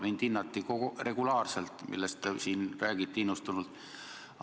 Mind hinnati regulaarselt – see, millest te siin innustunult räägite.